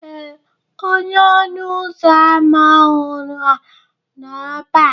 Ee, onye ọnụ ụzọ ámá ọhụrụ a nọ ebe a